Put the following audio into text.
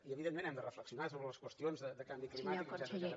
i evidentment hem de reflexionar sobre les qüestions de canvi climàtic etcètera